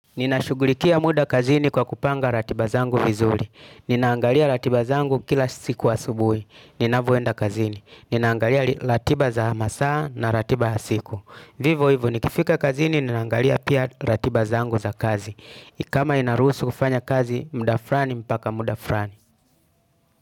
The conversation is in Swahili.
Ninashughulikia muda kazini kwa kupanga ratiba zangu vizuri. Ninaangalia ratiba zangu kila siku asubuhi ninapoenda kazini. Ninaangalia ratiba za masaa na ratiba ya siku. Vivo hivo nikifika kazini ninaangalia pia ratiba zangu za kazi. Kama inaruhusu kufanya kazi muda fulani mpaka muda fulani.